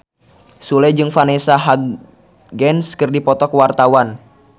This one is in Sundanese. Sule jeung Vanessa Hudgens keur dipoto ku wartawan